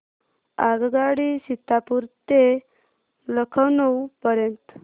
आगगाडी सीतापुर ते लखनौ पर्यंत